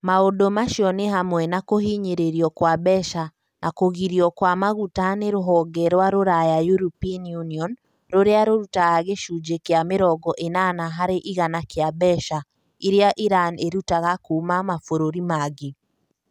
Maũndũ macio nĩ hamwe na kũhinyĩrĩrio kwa mbeca na kũgirio kwa maguta nĩ rũhonge rwa rũraya European Union, rũrĩa rũrutaga gĩcunjĩ kĩa mĩrongo ĩnana harĩ igana kĩa mbeca iria Irani ĩrutaga kuuma mabũrũri mangĩ.